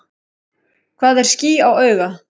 Hvað er ský á auga?